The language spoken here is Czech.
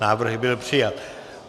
Návrh byl přijat.